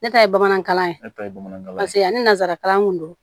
Ne ta ye bamanankan ye ne ta ye bamanankan ye paseke ani nanzarakan kun don